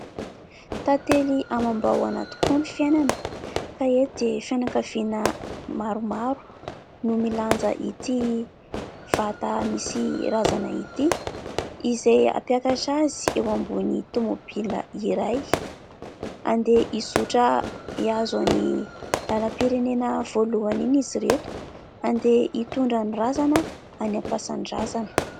Tantely amam-bahona tokoa ny fiainana, ka eto dia fianakaviana maromaro no milanja ity vata misy razana ity, izay hampiakatra azy eo ambony tomobila iray. Handeha hizotra hiazo iny lalam-pirenena voalohany iny izy ireto ; handeha hitondra ny razana any am-pasan-drazana.